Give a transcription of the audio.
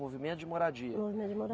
Movimento de Moradia. Movimento de